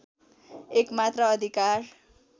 एकमात्र अधिकार